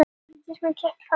Breytir horfum í stöðugar